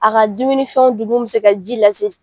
A ka dumunin fɛnw dun mun bɛ se ka ji lase.